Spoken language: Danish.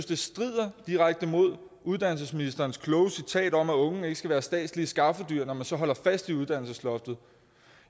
det strider direkte imod uddannelsesministerens kloge citat om at unge ikke skal være statslige skaffedyr når man så holder fast i uddannelsesloftet